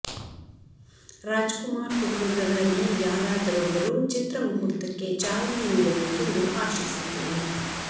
ರಾಜ್ ಕುಮಾರ್ ಕುಟುಂಬದವರಲ್ಲಿ ಯಾರಾದರೊಬ್ಬರು ಚಿತ್ರ ಮುಹೂರ್ತಕ್ಕೆ ಚಾಲನೆ ನೀಡಬೇಕೆಂದು ಆಶಿಸುತ್ತೇವೆ